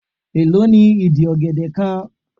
Èló ni ìdí ọ̀gẹ̀dẹ̀ kan?